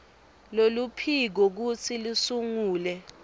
loluphiko kutsi lusungule